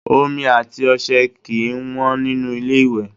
Omi àti ọṣẹ kì í wọ́n nínú ilé-ìwẹ̀